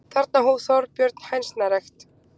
Þarna hóf Þorbjörn hænsnarækt.